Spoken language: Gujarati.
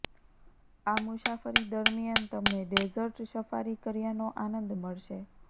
આ મુસાફરી દરમિયાન તમને ડેઝર્ટ સફારી કર્યાનો આનંદ મળશે